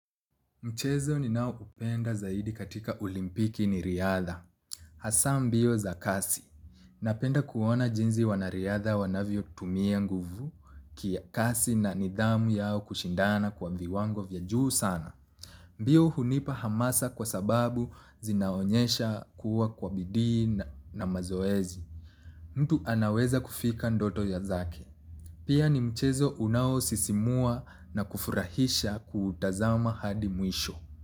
Mchezo ni nao upenda zaidi katika olimpiki ni riadha. Hasa mbio za kasi. Napenda kuona jinzi wanariadha wanavyo tumia nguvu kia kasi na nidhamu yao kushindana kwa viwango vya juu sana. Mbio hunipa hamasa kwa sababu zinaonyesha kuwa kwa bidii na mazoezi. Mtu anaweza kufika ndoto ya zake. Pia ni mchezo unao sisimua na kufurahisha kutazama hadi mwisho.